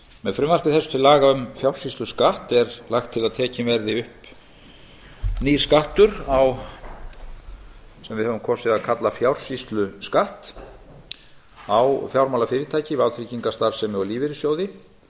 með frumvarpi þessu til laga um fjársýsluskatt er lagt til að tekinn verði upp nýr skattur sem við höfum kosið að kalla fjársýsluskatt á fjármálafyrirtæki vátryggingastarfsemi og lífeyrissjóði